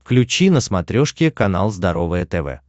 включи на смотрешке канал здоровое тв